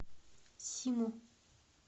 симу